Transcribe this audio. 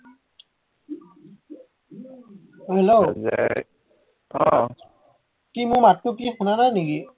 অ Hello এৰ আহ কি মোৰ মাতটো কি শুনা নাই নিকি